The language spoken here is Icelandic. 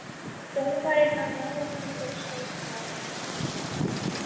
Dómarinn var nálægt mér og sá það.